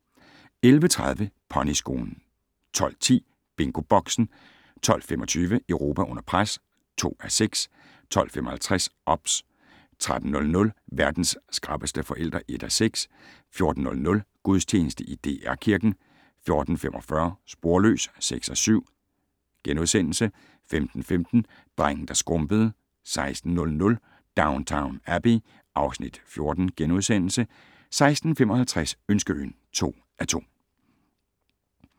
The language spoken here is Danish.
11:30: Ponyskolen 12:10: BingoBoxen 12:25: Europa under pres (2:6) 12:55: OBS 13:00: Verdens skrappeste forældre (1:6) 14:00: Gudstjeneste i DR Kirken 14:45: Sporløs (6:7)* 15:15: Drengen der skrumpede 16:00: Downton Abbey (Afs. 14)* 16:55: Ønskeøen (2:2)